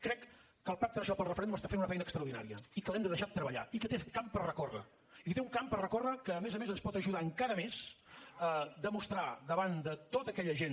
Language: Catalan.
crec que el pacte nacional pel referèndum està fent una feina extraordinària i que l’hem de deixar treballar i que té camp per recórrer i que té un camp per recórrer que a més a més ens pot ajudar encara més a demostrar davant de tota aquella gent